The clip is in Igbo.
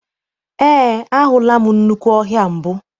Eé, ahụla m nnukwu ọhịa mbụ.